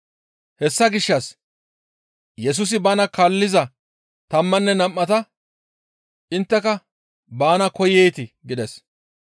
Hessa gishshas Yesusi bana kaalliza tammanne nam7ata, «Intteka baana koyeetii?» gides.